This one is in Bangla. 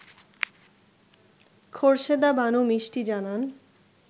খোরশেদা বানু মিষ্টি জানান